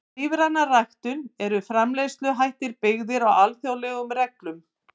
Við lífræna ræktun eru framleiðsluhættir byggðir á alþjóðlegum reglum.